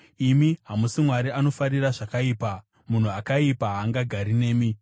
Imi hamusi Mwari anofarira zvakaipa; munhu akaipa haangagari nemi.